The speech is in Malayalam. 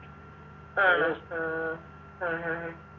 ആണോ ആഹ് ആ ആ ആ